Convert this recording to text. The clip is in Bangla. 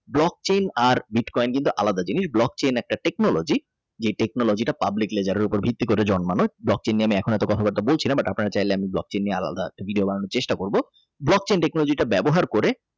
Brock chin আর বিটকয়েন কিন্তু আলাদা জিনিস Brock chin একটা Technology যে technology public ledgers উপরে ভিত্তি করে জন্মানো Brock chin নিয়ে আমি এখন অত কথাবার্তা বলছি না but আপনারা বললে Brock chin নিয়ে আলাদা একটা ভিডিও বানানোর চেষ্টা করব Brock chinTechnology টা ব্যবহার করে।